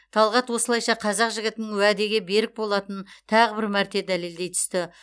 талғат осылайша қазақ жігітінің уәде берік болатынын тағы бір мәрте дәлелдей түсті